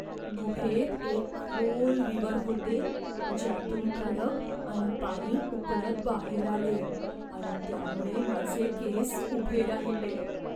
गुहेत एक खोल विवर होते ज्यातून खडक आणि पाणी उकळत बाहेर आले आणि त्यामुळे माझे केस उभे राहिले.